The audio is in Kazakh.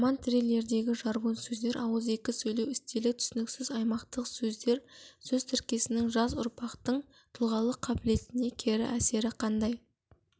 роман-триллердегі жаргон сөздер ауызекі сөйлеу стилі түсініксіз аймақтық сөздер сөз тіркестерінің жас ұрпақтың тұлғалық қабілетіне кері әсері қандай